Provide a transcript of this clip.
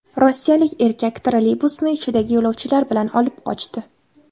Rossiyalik erkak trolleybusni ichidagi yo‘lovchilari bilan olib qochdi.